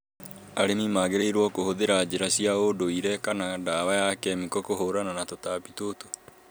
Arĩmi magĩrĩirũo kũhũthira njĩra cia ũũndũire kana ndawa ya kemiko kũhũrana na tũtambi tũtũ